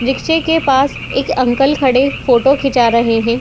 रिक्शे के पास एक अंकल खड़े फोटो खिंचा रहे है।